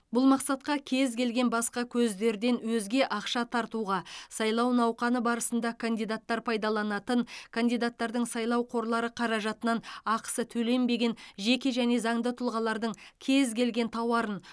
бұл мақсатқа кез келген басқа көздерден өзге ақша тартуға сайлау науқаны барысында кандидаттар пайдаланатын кандидаттардың сайлау қорлары қаражатынан ақысы төленбеген жеке және заңды тұлғалардың кез келген тауарын